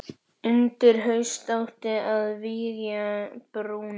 Undir haust átti að vígja brúna.